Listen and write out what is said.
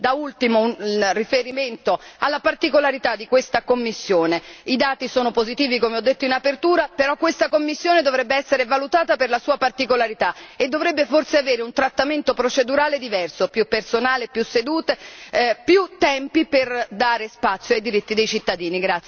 Da ultimo un riferimento alla particolarità di questa commissione i dati sono positivi, come ho detto in apertura, però questa commissione dovrebbe essere valutata per la sua particolarità e dovrebbe forse avere un trattamento procedurale diverso più personale, più sedute, più tempi per dare spazi ai diritti dei cittadini.